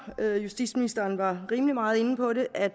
justitsministeren var rimelig meget inde på det at